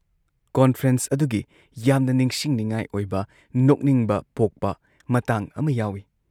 Conference ꯑꯗꯨꯒꯤ ꯌꯥꯝꯅ ꯅꯤꯡꯁꯤꯡꯅꯤꯡꯉꯥꯏ ꯑꯣꯏꯕ ꯅꯣꯛꯅꯤꯡꯕ ꯄꯣꯛꯄ ꯃꯇꯥꯡ ꯑꯃ ꯌꯥꯎꯏ ꯫